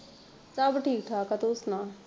ਸਭ ਠੀਕ ਠਾਕ ਆ ਤੂੰ ਸੁਣਾ?